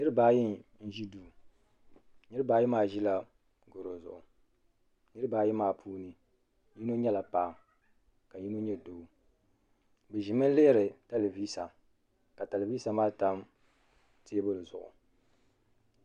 Niriba ayi n ʒi duu niriba ayi maa ʒila goro zuɣu niriba ayi maa puuni yino nyɛla paɣa ka yino nyɛ doo bɛ ʒimi lihiri telivisa ka telivisa maa tam teebuli zuɣu.